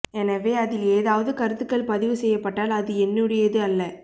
எனவே அதில் ஏதாவது கருத்துக்கள் பதிவு செய்யப்பட்டால் அது என்னுடையது அல்ல